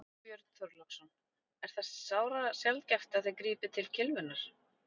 Björn Þorláksson: Er það sárasjaldgæft að þið grípið til kylfunnar?